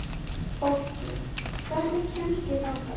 Fólki, hvernig kemst ég þangað?